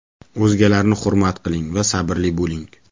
O‘zgalarni hurmat qiling va sabrli bo‘ling.